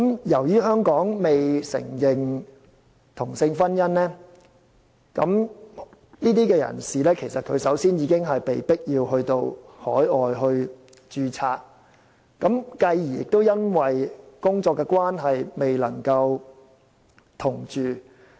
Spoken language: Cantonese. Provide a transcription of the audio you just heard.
由於香港未承認同性婚姻，這些人士首先已經被迫到海外註冊，繼而因工作關係而未能夠同住。